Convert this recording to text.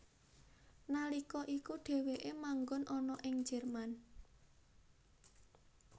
Nalika iku dheweke manggon ana ing Jerman